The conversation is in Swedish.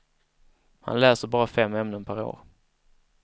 Han läser bara fem ämnen per år.